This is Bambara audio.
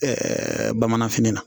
Ɛɛ bamananfini na